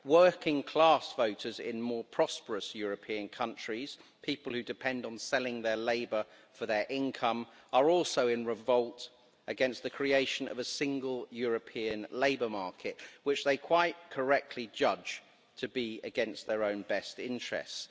Working-class voters in more prosperous European countries people who depend on selling their labour for their income are also in revolt against the creation of a single European labour market, which they quite correctly judge to be against their own best interests.